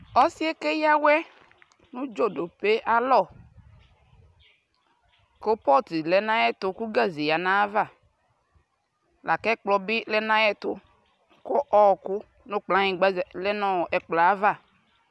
Ɔsiɛɛ keyawɛ u dʒoɖope ayalɔ kopɔtu lɛɛ nayɛɛtu kuu gaze yia nayava lakɛkplɔ bi lɛ nayɛtu ku ɔɔku nu kplanyigba lɛɛ nɛkplɔava